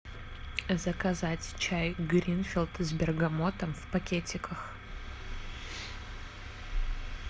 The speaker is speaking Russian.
заказать чай гринфилд с бергамотом в пакетиках